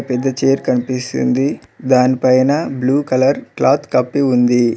పెద్ద చైర్ కనిపిస్తుంది దానిపైన బ్లూ కలర్ క్లాత్ కప్పి ఉంది.